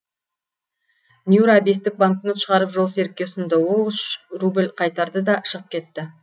нюра бестік банкнот шығарып жолсерікке ұсынды ол үш рубль қайтарды да шығып кетті